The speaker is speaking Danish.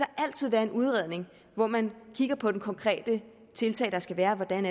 altid være en udredning hvor man kigger på det konkrete tiltag der skal være og hvordan